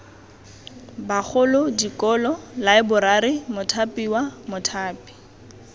bagolo dikolo laeborari mothapiwa mothapi